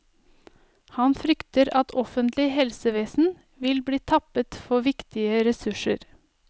Han frykter at offentlig helsevesen vil bli tappet for viktige ressurser.